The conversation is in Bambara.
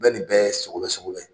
Bɛɛ nin bɛ sogobɛ sogobɛ